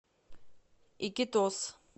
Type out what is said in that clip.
икитос